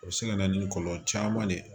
O bɛ se ka na ni kɔlɔlɔ caman de ye